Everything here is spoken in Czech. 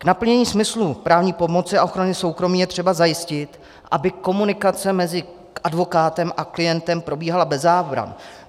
K naplnění smyslu právní pomoci a ochrany soukromí je třeba zajistit, aby komunikace mezi advokátem a klientem probíhala bez zábran.